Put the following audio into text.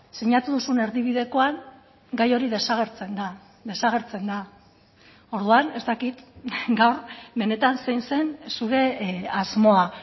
sinatu duzun erdibidekoan gai hori desagertzen da desagertzen da orduan ez dakit gaur benetan zein zen zure asmoa